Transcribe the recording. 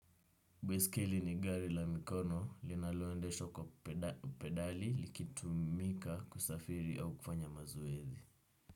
Baiskeli ni gari la mikono linaloendeshwa kwa pedali likitu mika kusafiri au kufanya mazoezi.